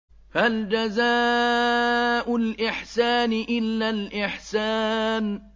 هَلْ جَزَاءُ الْإِحْسَانِ إِلَّا الْإِحْسَانُ